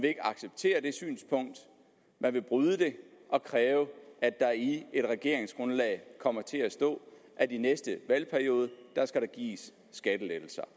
ikke acceptere det synspunkt man vil bryde det og kræve at der i et regeringsgrundlag kommer til at stå at i næste valgperiode skal der gives skattelettelser